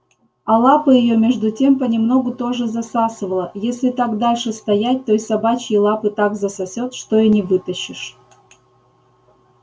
а лапы её между тем понемногу тоже засасывало если так дальше стоять то и собачьи лапы так засосёт что и не вытащишь